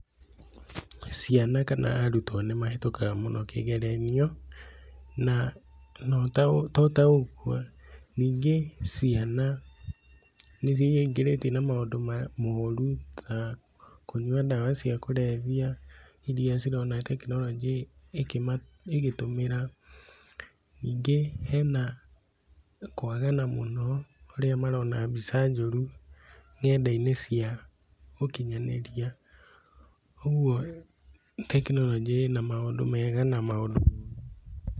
Ciana kana arutwo nĩ mahĩtũkaga mũno kĩgeranio, na to ta ũguo, ningĩ ciana nĩciingĩrĩtie na maũndũ moru ta kũnyua ndawa cia kũrebia, irĩa cirona tekinoronjĩ ĩgĩtũmĩra, ningĩ hena kwagana mũno, harĩa marona mbica njoru ng'enda-inĩ cia ũkinyanĩria, ũguo tekinoronjĩ ĩna maũndũ mega na maũndũ moru.